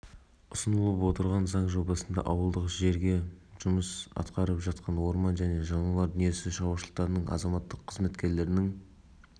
дейін арттыруға мүмкіндік берді мұндай жүйе бойынша азаматтық қызметкерлерге жұмыс барысындағы нәтижелілігі мен табыстары үшін